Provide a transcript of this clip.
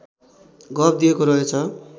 गफ दिएको रहेछ